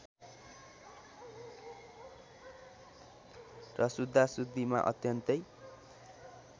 र शुद्धाशुद्धिमा अत्यन्तै